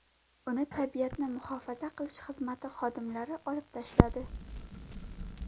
Uni tabiatni muhofaza qilish xizmati xodimlari otib tashladi.